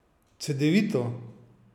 Cedevito?